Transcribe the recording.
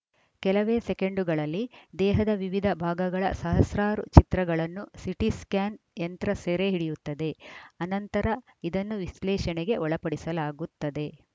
ಕೆಲವೇ ಸೆಕೆಂಡುಗಳಲ್ಲಿ ದೇಹದ ವಿವಿಧ ಭಾಗಗಳ ಸಹಸ್ರಾರು ಚಿತ್ರಗಳನ್ನು ಸಿಟಿ ಸ್ಕಾ್ಯನ್‌ ಯಂತ್ರ ಸೆರೆ ಹಿಡಿಯುತ್ತದೆ ಆನಂತರ ಇದನ್ನು ವಿಶ್ಲೇಷಣೆಗೆ ಒಳಪಡಿಸಲಾಗುತ್ತದೆ